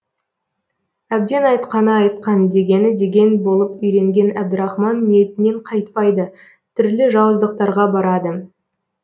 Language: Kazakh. әбден айтқаны айтқан дегені деген болып үйренген әбдірахман ниетінен қайтпайды түрлі жауыздықтарға барады